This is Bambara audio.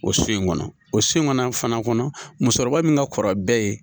O so in kɔnɔ, o so in kɔnɔ fana kɔnɔ, musokɔrɔba min ka kɔrɔ bɛɛ ye.